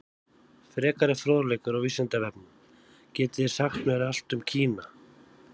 Frekari fróðleikur á Vísindavefnum: Getið þið sagt mér allt um Kína?